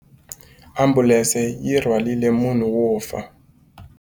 Ambulense yi rhwarile munhu wo fa.